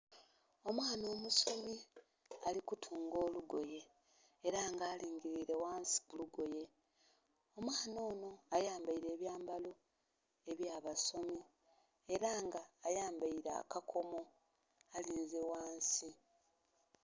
Omwana omusomi alikutunga olugoye era nga aligirire ghansi kulugoye, omwana ono ayambeire ebyambalo ebyabasomi era nga ayambeile akakomo alinze ghansi.